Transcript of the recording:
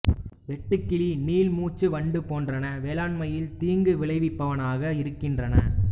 வெட்டுக்கிளி நீள்மூஞ்சி வண்டு போன்றன வேளாண்மையில் தீங்கு விளைவிப்பனவாக இருக்கின்றன